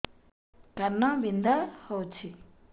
କାନ ବିନ୍ଧା ହଉଛି